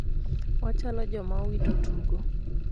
wachalo joma owito tugo